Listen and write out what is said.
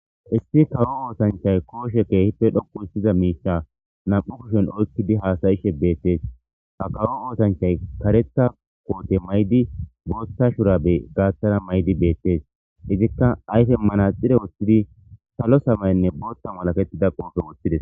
issi kawo oosanchay kooshe keehippe dhoku hissiza miicha nam'u kushshen oykkidi haasayishe beettees ha kawo oosanchay kareththa koote mayidi bootta shurabe gaaththara mayidii beettees izikka ayfe manaxire woththidi salo samaynne booththa malatettida qoofe woththides